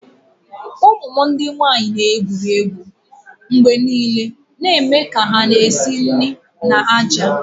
Ụmụ m ndị nwanyị na-egwuri egwu mgbe niile na-eme ka hà na-esi nri na ájá